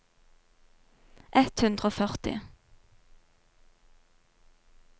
ett hundre og førti